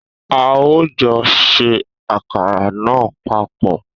A o jọ ṣe àkàrà náà papọ̀